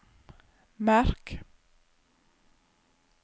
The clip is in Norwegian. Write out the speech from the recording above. merk